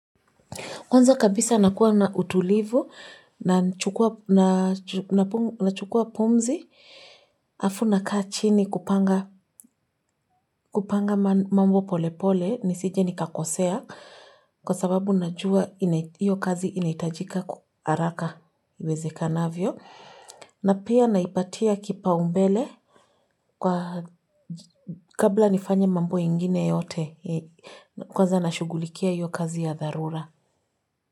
Kwanza kabisa nakuwa na utulivu na chukua pumzi alfu na kaa chini kupanga mambo polepole ni sije ni kakosea kwa sababu najua iyo kazi inaitajika kwa haraka iwezeka navyo. Na pia naipatia kipau mbele kabla nifanya mambo ingine yote kwanza nashugulikia iyo kazi ya darura.